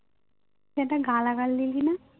তুই একটা গালাগাল দিলিনা